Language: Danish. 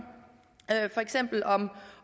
for eksempel om